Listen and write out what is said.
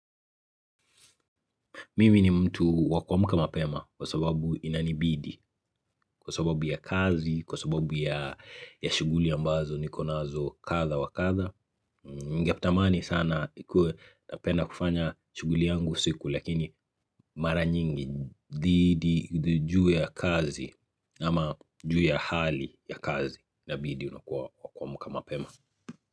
Mimi ni mtu wa kuamka mapema kwa sababu inani bidi, kwa sababu ya kazi, kwa sababu ya shughuli ambazo niko nazo kadha wa kadha. Ningetamani sana ikue napenda kufanya shughuli yangu siku lakini mara nyingi juu ya kazi ama juu ya hali ya kazi na bidii unakuwa wa kuamka mapema.